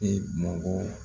E mɔgɔ